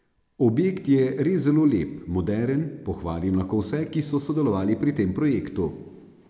Objekt je res zelo lep, moderen, pohvalim lahko vse, ki so sodelovali pri tem projektu.